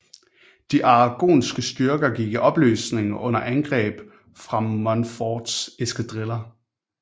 De aragonske styrker gik i opløsning under angreb fra Montforts eskadriller